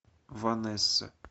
ванесса